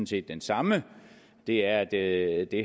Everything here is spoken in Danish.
set den samme det er at det